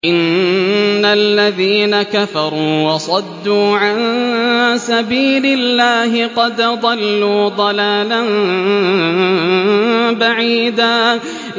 إِنَّ الَّذِينَ كَفَرُوا وَصَدُّوا عَن سَبِيلِ اللَّهِ قَدْ ضَلُّوا ضَلَالًا بَعِيدًا